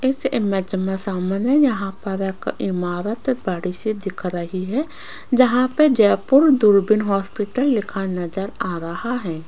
इस इमेज में सामने यहां पर एक इमारत बड़ी से दिख रही है जहां पे जयपुर दूरबीन हॉस्पिटल लिखा नजर आ रहा है।